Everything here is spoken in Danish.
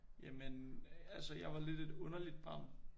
Jamen altså jeg var lidt et underligt barn